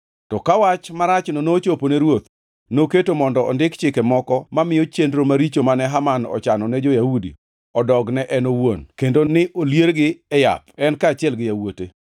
To ka wach marachno nochopo ne ruoth, noketo mondo ondik chike moko mamiyo chenro maricho mane Haman ochano ne jo-Yahudi odog ne en owuon, kendo ni oliergi e yath, en kaachiel gi yawuote.